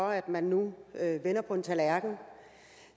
for at man nu vender på en tallerken